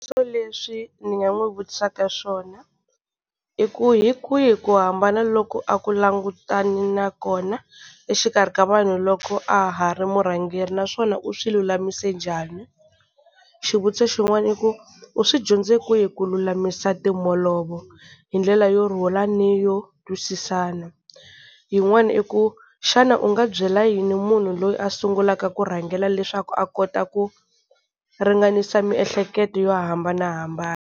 leswi ni nga n'wi vutisaka swona i ku hi kwihi ku hambana loko a ku langutane na kona exikarhi ka vanhu loko a ha ri murhangeri. Naswona u swi lulamise njhani. Xivutiso xin'wana i ku u swi dyondze kwihi ku lulamisa timholovo hi ndlela yo rhula ni yo twisisana. Yin'wana i ku xana u nga byela yini munhu loyi a sungulaka ku rhangela leswaku a kota ku ringanisa miehleketo yo hambanahambana.